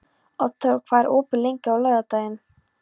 Oddþór, hvað er opið lengi á laugardaginn?